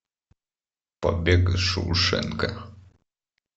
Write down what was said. побег из шоушенко